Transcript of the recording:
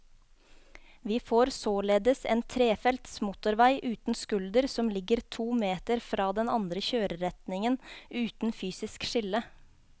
Vi får således en trefelts motorvei uten skulder som ligger to meter fra den andre kjøreretningen, uten fysisk skille.